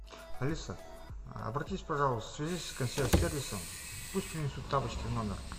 алиса обратись пожалуйста свяжись с консьерж сервисом пусть принесут тапочки в номер